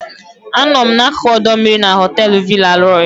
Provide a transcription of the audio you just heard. Anọ m n'akụkụ ọdọ mmiri na họteelu Villa Roy.